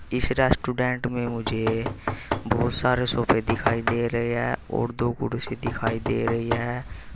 इस रेस्टोरेंट में मुझे बहुत सारे सोफे दिखाई दे रहे हैं और दो कुर्सी दिखाई दे रही है।